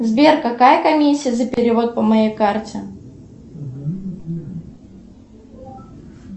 сбер какая комиссия за перевод по моей карте